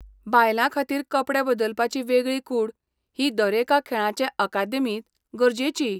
बायलांखातीर कपडे बदलपाची वेगळी कूड ही दरेका खेळांचे अकादेमींत गरजेची.